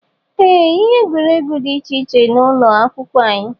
Ee, ihe egwuregwu dị iche iche dị n'ụlọ akwụkwọ anyị.